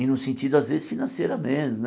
E no sentido, às vezes, financeira mesmo né.